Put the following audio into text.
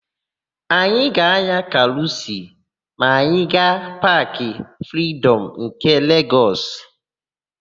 Anyị ga-ányà karusịl ma anyị gaa Paakị Fridọm nke Legọs.